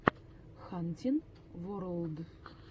хантин ворлд